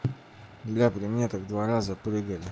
бля как при мне так два раза прыгали